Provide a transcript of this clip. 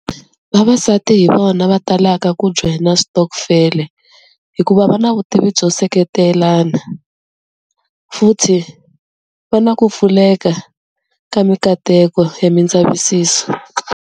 Vavasati hi vona va talaka ku joyina switokufele hikuva va na vutivi byo seketelana, futhi va na ku pfuleka ka mikateko ya mindzavisiso.